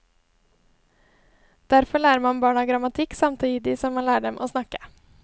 Derfor lærer man barna grammatikk samtidig som man lærer dem å snakke.